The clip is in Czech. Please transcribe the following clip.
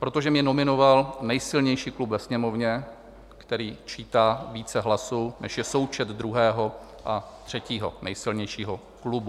protože mě nominoval nejsilnější klub ve Sněmovně, který čítá více hlasů, než je součet druhého a třetího nejsilnějšího klubu;